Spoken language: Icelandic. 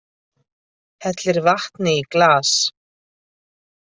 Hellir vatni í glas.